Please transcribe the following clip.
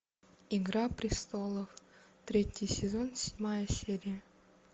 игра престолов третий сезон седьмая серия